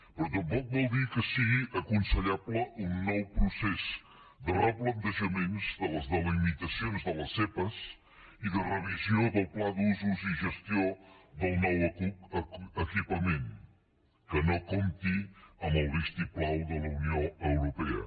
però tampoc vol dir que sigui aconsellable un nou procés de replantejaments de les delimitacions de les zepa i de revisió del pla d’usos i gestió del nou equipament que no comptin amb el vistiplau de la unió europea